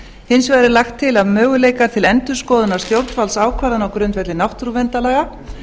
hins vegar er lagt til að möguleikar til endurskoðunar stjórnvaldsákvæðanna á grundvelli náttúruverndarlaga